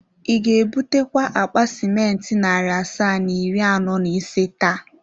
Ị ga-ebutakwa akpa simenti narị asaa na iri anọ na ise taa?